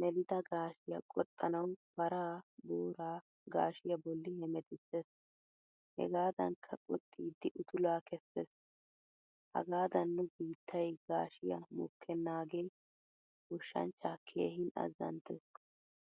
melida gashshiya qoxxanawu paraa, booraa gashiyaa bolli hemettisees. Hegadankka qoxxidi uttula keses. Hagadan nu biittay gashshiyaa mokkenagee goshshanchcha keehin azanttees.